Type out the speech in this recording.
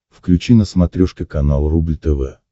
включи на смотрешке канал рубль тв